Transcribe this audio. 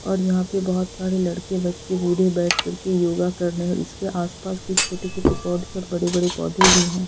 और यहां पर बहुत सारे लड़के बच्चे बूढ़े बैठ कर के योगा कर रहे हैंऔर इसके आसपास कुछ छोटे-छोटे पौध और बड़े-बड़े पौधे भी हैं।